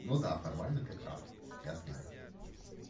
ну да формально ты прав я знаю